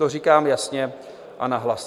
To říkám jasně a nahlas.